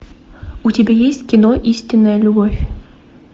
у тебя есть кино истинная любовь